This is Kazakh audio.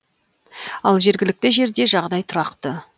ал жергілікті жерде жағдай тұрақты